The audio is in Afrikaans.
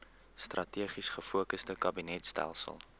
strategies gefokusde kabinetstelsel